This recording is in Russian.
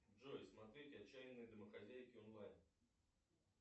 джой смотреть отчаянные домохозяйки онлайн